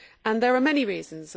There are many reasons